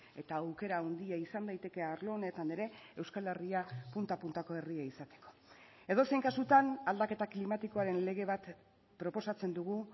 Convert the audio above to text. eta aukera handia izan daiteke arlo honetan ere euskal herria punta puntako herria izateko edozein kasutan aldaketa klimatikoaren lege bat proposatzen dugu